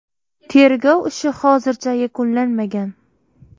Tergov ishi hozircha yakunlanmagan.